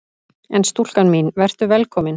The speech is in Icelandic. En stúlka mín: Vertu velkomin!